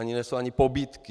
To nejsou ani pobídky.